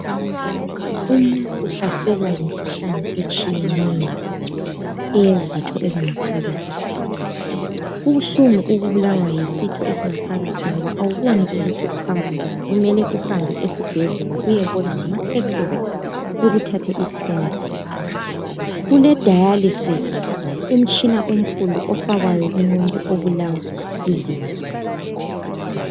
Umuntu uhlaselwa yimkhuhlani etshiyeneyo eyezitho ezingaphakathi kubuhlungu ukubulawa yisitho esingaphakathi ngoba awuboni ukuthi ukuhamba njani kumele uhambe esibhedlela uyembona ngama x-ray ukuthathe isithombe kule dayalisisi umtshina omkhulu ofakwayo kumuntu obulawa yizinso